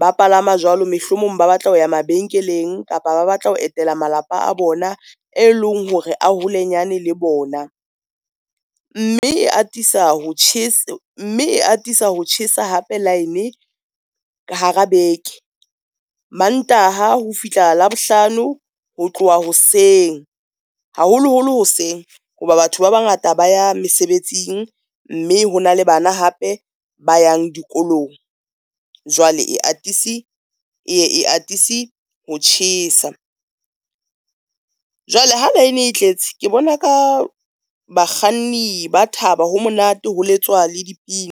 ba palama jwalo, mehlomong ba batla ho ya mabenkeleng kapa ba batla ho etela malapa a bona, e leng hore a holenyane le bona. Mme e atisa ho tjhesa hape line ka hara beke. Mantaha ho fihla Labohlano ho tloha hoseng haholoholo hoseng, hoba batho ba bangata ba ya mesebetsing, mme ho na le bana hape ba yang dikolong, jwale eye e atise ho tjhesa. Jwale ha line e tletse ke bona ka bakganni ba thaba, ho monate ho letswa le dipina.